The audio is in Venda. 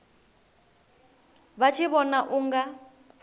vha tshi vhona u nga